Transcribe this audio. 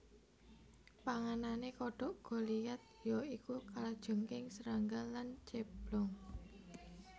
Panganane kodhok goliath ya iku kalajengking serangga lan ceblong